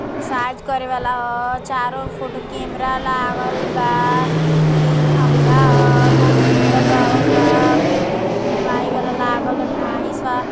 Excise करे वाला ह। चारों फोटो कैमरा लागल बा। इ खंभा ह। बहुत सुंदर लागल बा। प्लाई वाला लागल बा। टाइल्स ह।